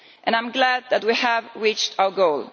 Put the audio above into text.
I am glad that we have reached our goal.